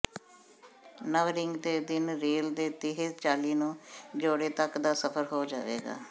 ਨਵ ਰਿੰਗ ਦੇ ਦਿਨ ਰੇਲ ਦੇ ਤੀਹ ਚਾਲੀ ਨੂੰ ਜੋੜੇ ਤੱਕ ਦਾ ਸਫਰ ਹੋ ਜਾਵੇਗਾ